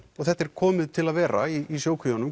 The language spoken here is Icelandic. þetta sé komið til að vera í